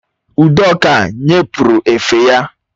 Udoka nye pụrụ efe ya